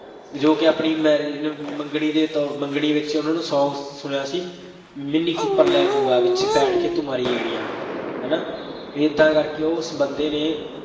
ਜੋ ਕਿ ਆਪਣੀ marriage ਮੰਗਣੀ ਦੇ ਤੌਰ, ਮੰਗਣੀ ਵਿੱਚ ਉਹਨਾ ਨੂੰ song ਸੁਣਿਆ ਸੀ, ਮਿੰਨੀ ਕੂਪਰ ਲੈ ਦੂੰਗਾ, ਵਿੱਚ ਬੈਠ ਕੇ ਤੂੰ ਮਾਰੀ ਗੇੜੀਆਂ, ਹੈ ਨਾ, ਏਦਾਂ ਕਰਕੇ ਉਸ ਬੰਦੇ ਨੇ